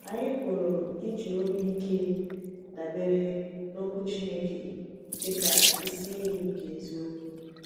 Anyị pụrụ iji obi ike dabere n’Okwu Chineke dị ka isi iyi nke èzìokwu.